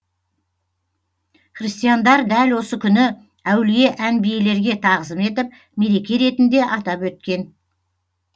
христиандар дәл осы күні әулие әнбиелерге тағзым етіп мереке ретінде атап өткен